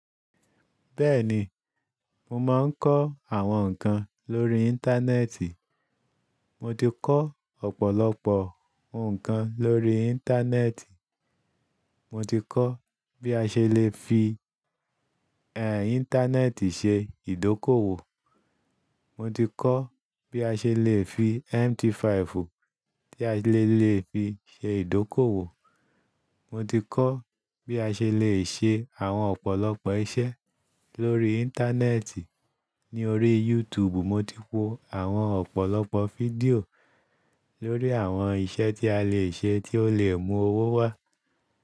Bẹ́ẹ̀ni, mo máa ń kọ́ àwọn nǹkan lórí Íńtánẹ́ẹ̀tì. Mo ti kọ́ ọ̀pọ̀lọpọ̀ ǹkan lórí Íńtánẹ́ẹ̀tì. Mo ti kọ́ bí a ṣe lè fi, ẹẹ́ Íńtánẹ́ẹ̀tì ṣe ìdókòwò. Mo ti kọ́ bí a ṣe lè fi MT5 tí a lè lè fi ṣe ìdókòwò. Mo ti kọ́ bí a ṣe lè ṣe àwọn ọ̀pọ̀lọpọ̀ iṣẹ́ lórí Íńtánẹ́ẹ̀tì. Ní orí YouTube, mo ti wo àwọn ọ̀pọ̀lọpọ̀ fídíò lórí àwọn iṣẹ́ tí a lè ṣe tí ó lè mú owó wá.